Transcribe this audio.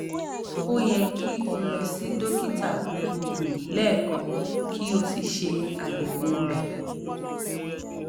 o yẹ ki o lọ si dokita gbogbogbo lẹẹkan ki o si ṣe ayẹwo rẹ